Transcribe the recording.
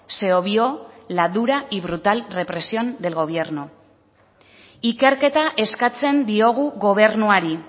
se obvió la dura y brutal represión del gobierno ikerketa eskatzen diogu gobernuari